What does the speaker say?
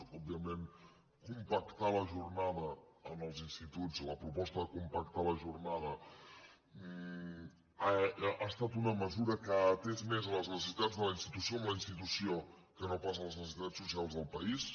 òbviament compactar la jornada en els instituts la proposta de compactar la jornada ha estat una mesura que ha atès més les necessitats de la institució amb la institució que no pas les necessitats socials del país